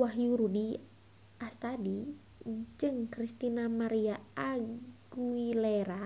Wahyu Rudi Astadi jeung Christina María Aguilera